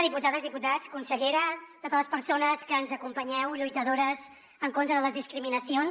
diputades diputats consellera totes les persones que ens acompanyeu lluitadores en contra de les discriminacions